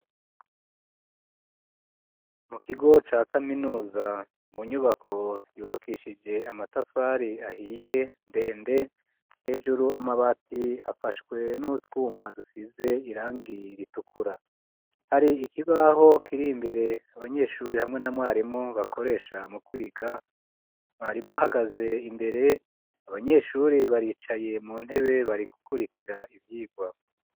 Mu kigo ca kaminuza inyubako yubakishije amatafari ahiye ndende hejuru amabati afashwe n'utwuma dusize irangi ritukura hari ikibaho kiri imbere abanyeshuri hamwe na mwarimu bakoresha mu kwiga mwarimu ahagaze imbere abanyeshuri baricaye mu ntebe bari gukurikira ivyirwa